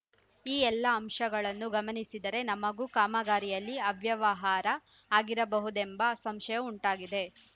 ಈ ಎಲ್ಲಾ ಅಂಶಗಳನ್ನು ಗಮನಿಸಿದರೆ ನಮಗೂ ಕಾಮಗಾರಿಯಲ್ಲಿ ಅವ್ಯವಹಾರ ಆಗಿರಬಹುದೆಂಬ ಸಂಶಯ ಉಂಟಾಗಿದೆ